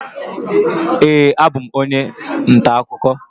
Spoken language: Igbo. Ee, abụ m onye ntaakụkọ